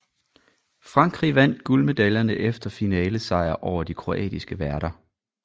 Frankrig vandt guldmedaljerne efter finalesejr over de kroatiske værter